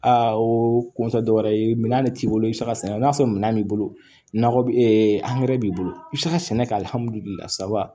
Aa o kun tɛ dɔwɛrɛ ye minan de t'i bolo i bɛ se ka sɛnɛ i n'a fɔ minɛn b'i bolo nakɔ bɛ b'i bolo i bɛ se ka sɛnɛ kɛ saba